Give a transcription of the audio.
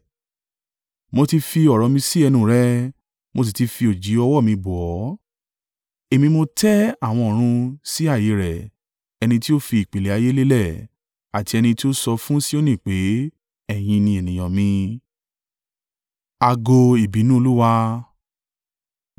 Mo ti fi ọ̀rọ̀ mi sí ẹnu rẹ mo sì ti fi òjìji ọwọ́ mi bò ọ́, Èmi tí mo tẹ́ àwọn ọ̀run sí ààyè rẹ̀, ẹni tí ó fi ìpìlẹ̀ ilẹ̀ ayé lélẹ̀, àti ẹni tí ó sọ fún Sioni pé, ‘Ẹ̀yin ni ènìyàn mi.’ ”